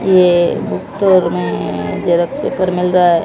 ये उत्तर में जेरॉक्स पेपर मिल रहा है।